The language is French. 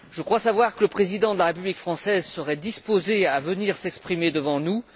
Je crois savoir que le président de la République française serait disposé à venir s'exprimer devant nous.